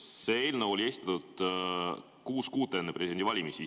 See eelnõu esitati kuus kuud enne presidendivalimisi.